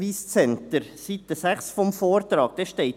Auf Seite 6 des Vortrags steht: